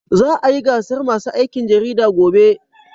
Za a yi gasar masu aikin jarida gobe.